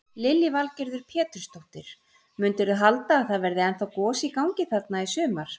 Lillý Valgerður Pétursdóttir: Mundirðu halda að það verði ennþá gos í gangi þarna í sumar?